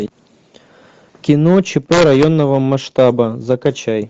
кино чп районного масштаба закачай